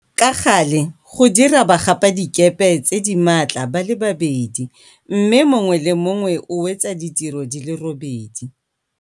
Ka gale go dira bagapadikepe tse di maatla ba le babedi, mme mongwe le mongwe o wetsa ditiro di le robedi.